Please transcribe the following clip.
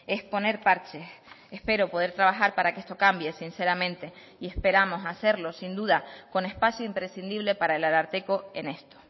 es poner parches espero poder trabajar para que esto cambie sinceramente y esperamos hacerlo sin duda con espacio imprescindible para el ararteko en esto